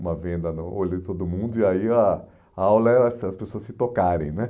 Uma venda no olho de todo mundo e aí a a aula era assim as pessoas se tocarem, né?